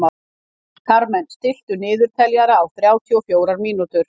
Karmen, stilltu niðurteljara á þrjátíu og fjórar mínútur.